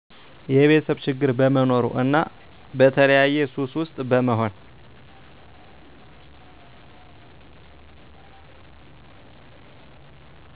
የቤተሰብ ችግር በመኖሩ እና በተለያየ ሱሰ ውስጥ በመሆን።